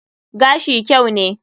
Gashi kyau ne.